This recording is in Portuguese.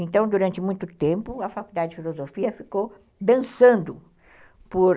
Então, durante muito tempo, a Faculdade de Filosofia ficou dançando, por